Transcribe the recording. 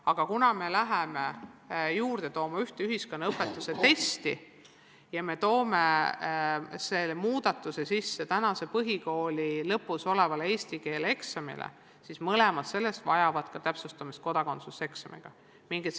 Aga kuna me toome juurde ühe ühiskonnaõpetuse testi ja teeme muudatuse, mis puudutab praegu põhikooli lõpus olevat eesti keele eksamit, siis vajab täpsustamist ka kodakondsuseksamisse puutuv.